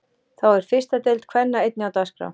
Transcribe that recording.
Þá er fyrsta deild kvenna einnig á dagskrá.